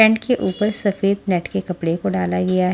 Tent के ऊपर सफेद नेट के कपड़े को डाला गया है।